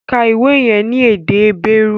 Ka ìwé yẹn ní èdè Hébérù!